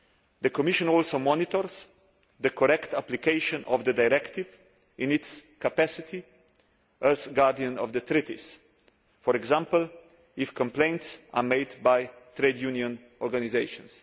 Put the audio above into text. The Commission also monitors the correct application of the directive in its capacity as Guardian of the Treaties for example, if complaints are made by trade union organisations.